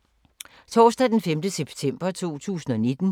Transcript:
Torsdag d. 5. september 2019